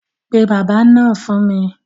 Pe bábà náà fún mi.